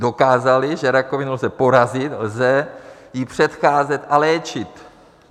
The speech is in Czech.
Dokázali, že rakovinu lze porazit, lze jí předcházet a léčit.